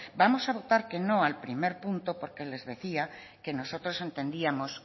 vamos a votar que no al primer punto porque les decía que nosotros entendíamos